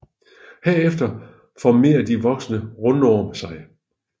Herefter formerer de voksne rundorm sig